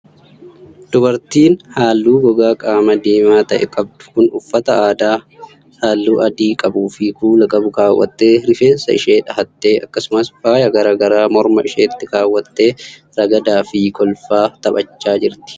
Dubartiin haalluu gogaa qaamaa diimaa ta'e qabdu kun uffata aadaa haalluu adii qabuu fi kuula qabu kaawwattee, rifeensa ishee dhahattee, akkasumas faaya garaa garaa morma isheetti kaawwattee ragada ragdaa fi kolfaa taphachaa jirti.